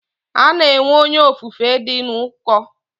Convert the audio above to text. Ana enwe Onye ofufe di n'uko.